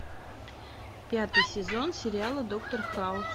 пятый сезон сериала доктор хаус